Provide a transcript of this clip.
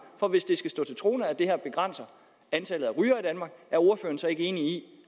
for hvis det skal stå til troende at det her begrænser antallet af rygere i danmark er ordføreren så ikke enig